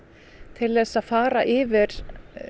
til þess að fara yfir